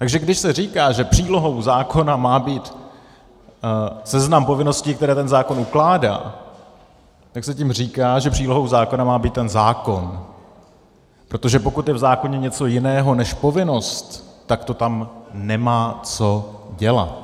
Takže když se říká, že přílohou zákona má být seznam povinností, které ten zákon ukládá, tak se tím říká, že přílohou zákona má být ten zákon, protože pokud je v zákoně něco jiného než povinnost, tak to tam nemá co dělat.